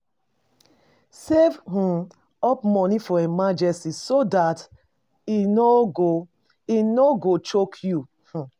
Save um up money for emergency so dat e no e no go choke you um